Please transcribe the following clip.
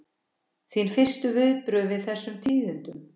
Þín fyrstu viðbrögð við þessum tíðindum?